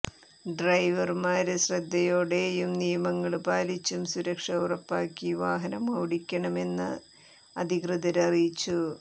ഡ്രൈവര്മാര് ശ്രദ്ധയോടെയും നിയമങ്ങള് പാലിച്ചും സുരക്ഷ ഉറപ്പാക്കി വാഹനമോടിക്കണമെന്ന് അധികൃതര് അറിയിച്ചു